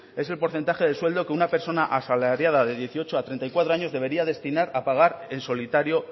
es el porcentaje de sueldo que una persona asalariada de dieciocho a treinta y cuatro años debería destinar a pagar en solitario